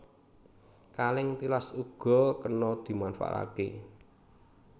Kalèng tilas uga kena dimanfaatké